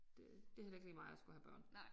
Det det heller ikke lige mig at skulle have børn